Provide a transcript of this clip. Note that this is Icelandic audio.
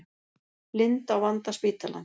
Blind á vanda spítalans